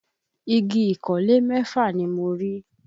Igi ìkọ́lé mẹ́fà ni mo rí